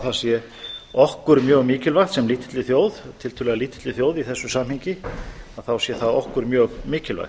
það sé okkur mjög mikilvægt sem lítilli þjóð tiltölulega lítilli þjóð í þessu samhengi að þá sé það okkur mjög mikilvægt